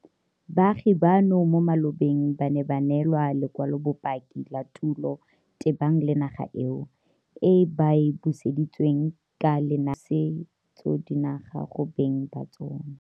Baagi bano mo malobeng ba ne ba neelwa lekwalobopaki la tulo tebang le naga eo, e ba e buseditsweng ka lenaane la pusetsodinaga go beng ba tsona.